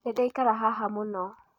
Nĩ ndaikara haha mũno.